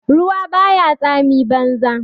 Ruwa ba ya tsami banza.